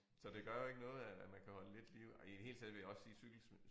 Så det gør jo ikke noget at at man kan holde lidt liv ej i det hele taget vil jeg også sige cykelsmed